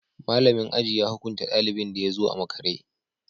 Malamin aji ya hukunta dalibin da ya zo a makare